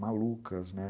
malucas, né?